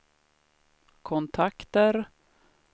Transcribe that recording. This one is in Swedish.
kontakter